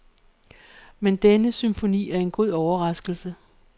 Men denne symfoni er en god overraskelse.